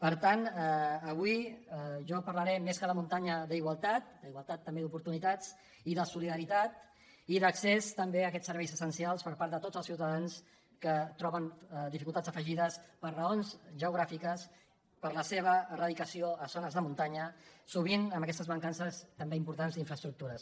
per tant avui jo parlaré més que de muntanya d’igualtat d’igualtat també d’oportunitats i de solidaritat i d’accés també a aquests serveis essencials per part de tots els ciutadans que troben dificultats afegides per raons geogràfiques per la seva radicació a zones de muntanya sovint amb aquestes mancances també importants d’infraestructures